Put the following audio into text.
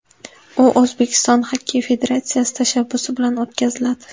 U O‘zbekiston Xokkey federatsiyasi tashabbusi bilan o‘tkaziladi.